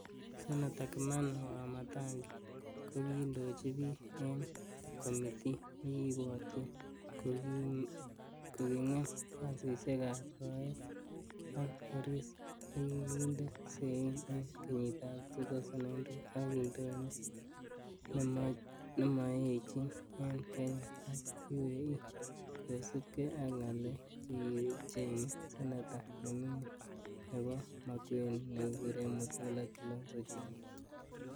Seneta kimani Wamatangi kokindochi bik en komiti nekikibwotyin kokingem kasisiekab soet ak koris nekikinde sein en kenyitab 2002 ak indonyo nemooechin en Kenya ak UAE kosiibge ak ngalek chekichenge seneta nemingin nebo Makueni nekekuren Mutula Kilonzo junia.